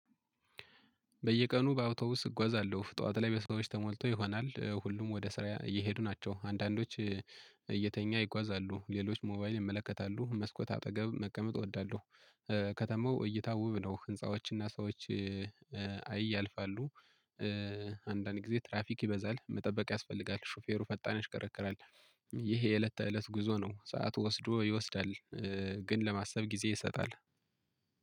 በየቀኑ በአውቶውስ እጓዛለሁ ጠዋት ላይ በሰዎች ተሞልቶ ይሆናል ሁሉም ወደ ስራ እየሄዱ ናቸው አንዳንዶች እየተኛ ይጓዛሉ ሌሎች ሞባይል ይመለከታሉ መስኮት አጠገብ መቀመጥ እወዳለሁ። ከተማው እይታ ውብ ነው ህንፃዎችና ሰዎች አይ ያልፋሉ። አንዳንድ ጊዜ ትራፊክ ይበዛል መጠበቅ ያስፈልጋል ሹፌሩ ፈጣን ያሽከረክራል። ይሄ የእለት ተእለት ጉዞ ነው። ሰዓት ወስዶ ይወስዳል። ግን ለማሰብ ጊዜ ይሰጣል።